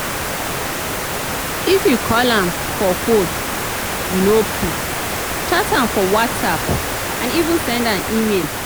if you call am for phone e no pick chat am for whatsapp and even send am email